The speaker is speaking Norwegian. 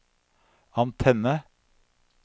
antenne